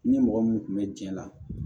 Ni mɔgɔ min kun bɛ jɛn na